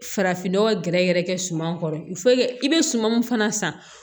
Farafin nɔgɔ gɛrɛgɛrɛ kɛ suman kɔrɔ i bɛ suman min fana san